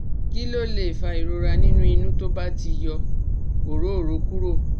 Kí ló lè fa ìrora nínú inu tó ba ti yọ orooro kúrò?